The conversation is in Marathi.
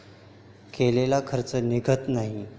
केलेला खर्च निघत नाही.